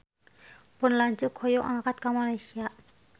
Pun lanceuk hoyong angkat ka Malaysia